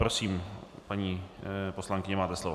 Prosím, paní poslankyně, máte slovo.